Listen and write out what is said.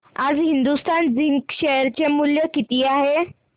आज Hindustan zinc share चे मूल्य किती आहे